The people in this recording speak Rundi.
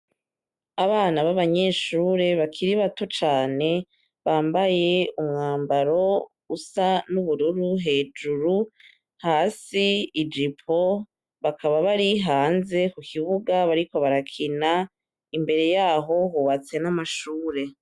Abana b'abanyeshure bakiri bato cane bambaye umwambaro usa n'ubururu hejuru hasi ejipo bakaba bari hanze ku kibuga bariko barakina imbere yaho hubatse n'amashure.